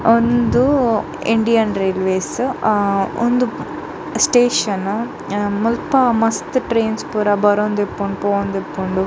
ಉಂದು Indian railways ಅ ಉಂದು ಸ್ಟೇಷನ್ ಮುಲ್ಪ ಮಸ್ತ್ ಟ್ರೈನ್ಸ್ ಪೂರ ಬರೊಂದುಪ್ಪುಂಡು ಪೋವೊಂದಿಪ್ಪುಂಡು.